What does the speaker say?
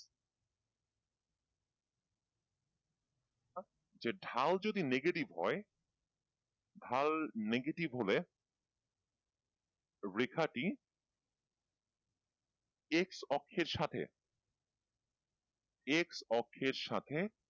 যে ঢাল যদি negative হয়, ঢাল negative হলে রেখাটি x অক্ষের সাথে x অক্ষের সাথে,